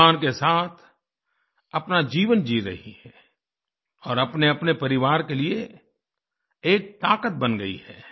सम्मान के साथ अपना जीवन जी रही है और अपनेअपने परिवार के लिए एक ताक़त बन गई है